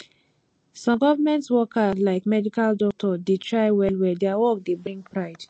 some government worker like medical doctor dey try well well their work dey bring pride